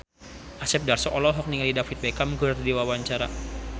Asep Darso olohok ningali David Beckham keur diwawancara